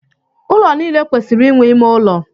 Ụlọ niile kwesịrị inwe ime ụlọ.